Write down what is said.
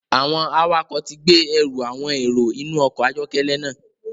Awọn awakọ ti gbe ẹru awọn ero inu ọkọ ayọkẹlẹ náà